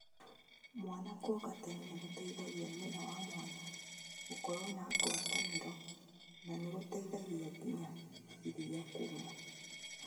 Mwana kuonga tene nĩgũteithagĩa nyina na mwana gũkorũo na ngwatanĩro na nĩgũteithagia nginya iria kuuma